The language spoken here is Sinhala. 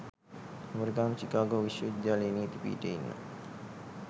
ඇමරිකානු චිකාගෝ විශ්වවිද්‍යාලයේ නීති පීඨයේ ඉන්න